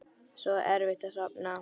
Svo erfitt að sofna.